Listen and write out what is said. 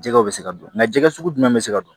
Jɛgɛw bɛ se ka don nka jɛgɛ sugu jumɛn bɛ se ka don